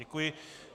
Děkuji.